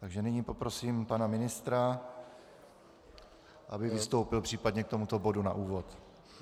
Takže nyní poprosím pana ministra, aby vystoupil případně k tomuto bodu na úvod.